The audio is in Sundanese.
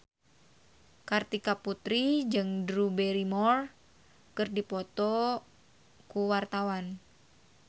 Kartika Putri jeung Drew Barrymore keur dipoto ku wartawan